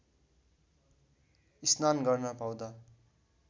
स्नान गर्न पाउँदा